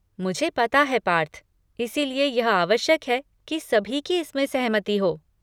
मुझे पता है पार्थ, इसीलिए यह आवश्यक है कि सभी की इसमें सहमति हो।